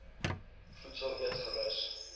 voedsel eet gerus